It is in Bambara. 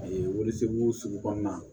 A ye waliso sugu kɔnɔna na